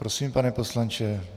Prosím, pane poslanče.